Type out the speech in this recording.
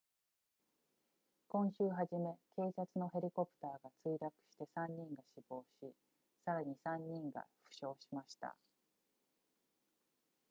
今週初め警察のヘリコプターが墜落して3人が死亡しさらに3人が負傷しました